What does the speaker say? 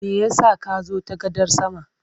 Me ya sa ka zo ta gadar sama?